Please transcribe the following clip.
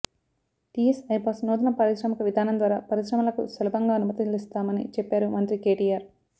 టీఎస్ఐపాస్ నూతన పారిశ్రామిక విధానం ద్వారా పరిశ్రమలకు సులభంగా అనుమతులిస్తామని చెప్పారు మంత్రి కేటీఆర్